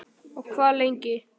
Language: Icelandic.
Og hvað lengi?